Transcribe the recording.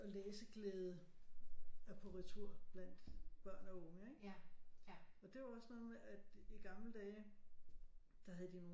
Og læseglæde er på retur blandt børn og unge ikke og det er jo også noget med at i gamle dage der havde de